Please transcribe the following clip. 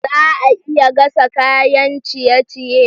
Za a iya gasa kayan ciye-ciye?